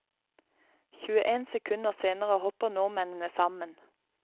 Tjueen sekunder senere hopper nordmennene sammen.